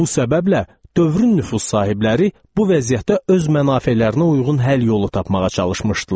Bu səbəblə, dövrün nüfuz sahibləri bu vəziyyətdə öz mənafelərinə uyğun həll yolu tapmağa çalışmışdılar.